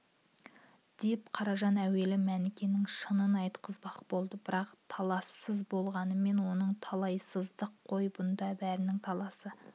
деп қаражан әуелі мәнікенің шынын айтқызбақ болды бірақ талассыз болғанымен онысы талайсыздық қой бұнда бәрінің таласы